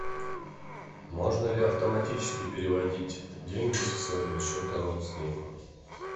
можно ли автоматически переводить деньги со своего счета родственнику